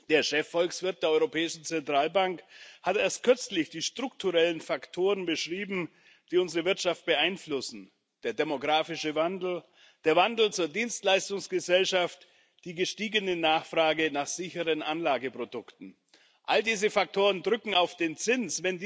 Der Chefvolkswirt der Europäischen Zentralbank hat erst kürzlich die strukturellen Faktoren beschrieben, die unsere Wirtschaft beeinflussen der demografische Wandel, der Wandel zur Dienstleistungsgesellschaft, die gestiegene Nachfrage nach sicheren Anlageprodukten. All diese Faktoren drücken auf den Zins.